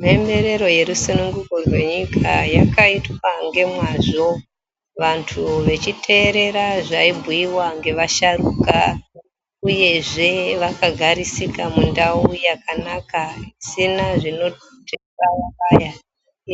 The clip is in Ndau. Mhemberero yerusunguko rweyenyika yakaitwa ngemwazvo vantu vechiteera zvaibhuyiwa ngevasharuka uyezve vakagarisika mundau yakanaka isina zvinobayabaya,